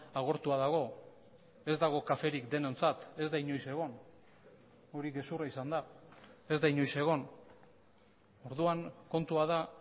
agortua dago ez dago kaferik denontzat ez da inoiz egon hori gezurra izan da ez da inoiz egon orduan kontua da